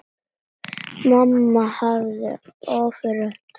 Mamma hafði ofurtrú á Árna.